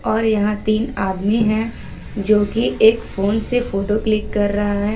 और यहां तीन आदमी है जो की एक फोन से फोटो क्लिक कर रहा है ।